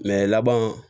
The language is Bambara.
laban